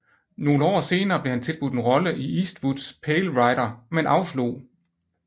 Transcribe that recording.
Nogle år senere blev han tilbudt en rolle i Eastwoods Pale Rider men afslog